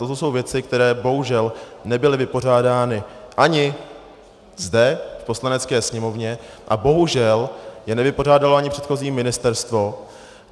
Toto jsou věci, které bohužel nebyly vypořádány ani zde v Poslanecké sněmovně a bohužel je nevypořádalo ani předchozí ministerstvo.